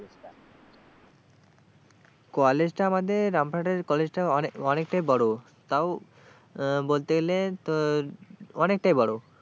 কলেজটা আমাদের রামপুরহাটের কলেজটা অনেক অনেকটাই বড় তাও বলতে গেলে তোর অনেকটাই বড়।